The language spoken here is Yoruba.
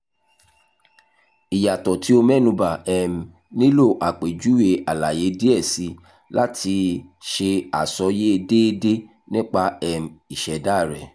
iyatọ ti ti o mẹnuba um nilo apejuwe alaye diẹ sii lati ṣe asọye deede nipa um iseda rẹ